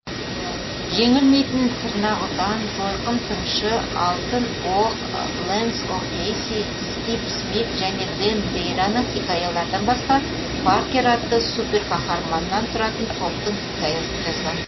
жеңілмейтін тырнақұтан жойқын тыңшы алтын оқ лэнс о кейси скип смит және дэн дейраның хикаялардан басқа паркер атты суперқаһарманнан тұратын топтың хикаясын жазған